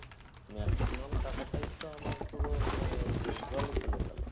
maximum টাকাটাই তো আমার পুরো মানে জলে চলে গেলো